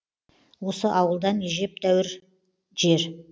осы ауылдан әжептәуір жер